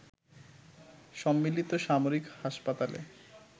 সম্মিলিত সামরিক হাসপাতালে